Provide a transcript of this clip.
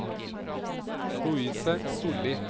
Louise Sollie